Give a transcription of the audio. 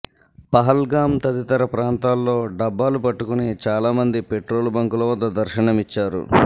పహల్గామ్ తదితర ప్రాంతాల్లో డబ్బాలు పట్టుకుని చాలామంది పెట్రోలు బంకుల వద్ద దర్శనమిచ్చారు